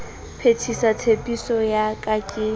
phethisa tshepiso ya ka ke